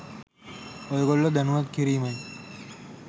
ඔයගොල්ලෝ දැනුවත් කිරීමයි.